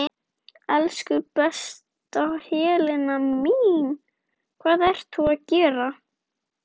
Elsku besta Helena mín.